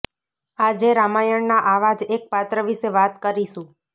આજે રામાયણના આવા જ એક પાત્ર વિશે વાત કરીશું